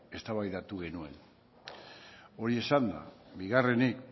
eztabaidatu genuen hori esanda bigarrenik